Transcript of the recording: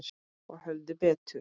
Og höfðu betur.